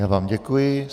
Já vám děkuji.